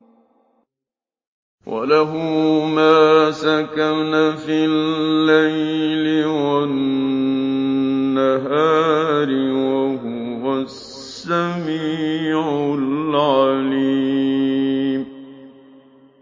۞ وَلَهُ مَا سَكَنَ فِي اللَّيْلِ وَالنَّهَارِ ۚ وَهُوَ السَّمِيعُ الْعَلِيمُ